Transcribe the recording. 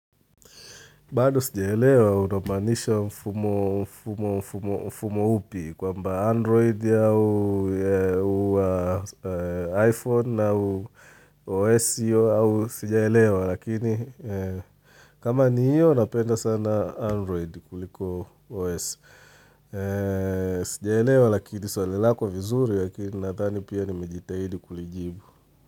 Bado sijaelewa unamaanisha mfumo mfumo upi kwamba android au iPhone au OS hiyo au sijaelewa lakini kama ni hiyo napenda sana android kuliko OS Sijaelewa lakini swali lakini vizuri lakini nadhani pia nimejitahidi kulijibu.